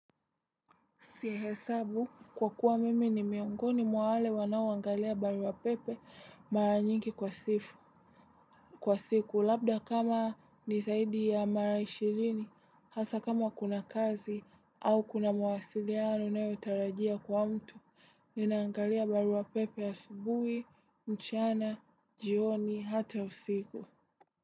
Sihesabu kwa kuwa mimi ni miongoni mwale wanaoangalia barua pepe mara nyingi kwa sifu kwa siku labda kama ni zaidi ya mara ishirini hasa kama kuna kazi au kuna mawasiliano nayotarajia kwa mtu ninaangalia barua pepe asubuhi mchana jioni hata usiku.